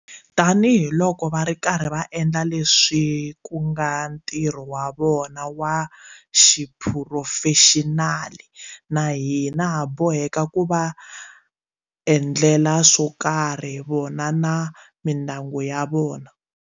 Tanihiloko va ri karhi va endla leswi ku nga ntirho wa vona wa xiphurofexinali, na hina ha boheka ku va endlela swo karhi vona na mindyangu ya vona.